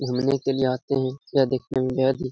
घूमने के लिए आते हैं। यह दिखने में बेहद ही --